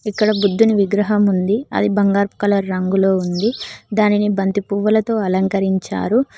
ఇక్కడ బుద్ధుని విగ్రహం ఉంది అది బంగారు కలర్ రంగులో ఉంది దానిని బంతి పువ్వులతో అలంకరించారు.